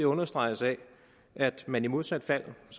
understreges af at man i modsat fald